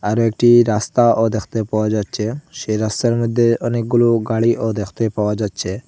আরো একটি রাস্তাও দেখতে পাওয়া যাচ্ছে সেই রাস্তার মইধ্যে অনেকগুলো গাড়িও দেখতে পাওয়া যাচ্ছে।